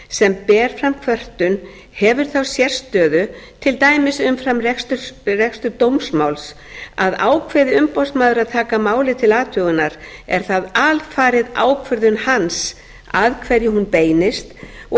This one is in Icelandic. sem ber fram kvörtun hefur þá sérstöðu til dæmis umfram rekstur dómsmáls að ákveði umboðsmaður að taka málið til athugunar er það alfarið ákvörðun hans að hverju hún beinist og